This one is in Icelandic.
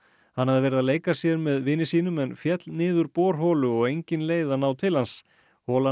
hann hafði verið að leika sér með vini sínum en féll niður borholu og engin leið að ná til hans holan